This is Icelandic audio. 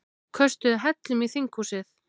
Köstuðu hellum í þinghúsið